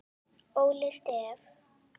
Óli Stef.